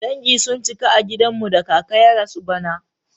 Dangi sun cika a gidan mu da kaka ya rasu bara.